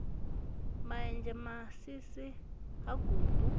ma enzhe masisi ha gumbu